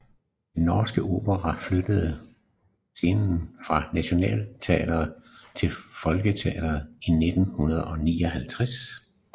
Den Norske Opera flyttede scene fra Nationaltheatret til Folketeatret i 1959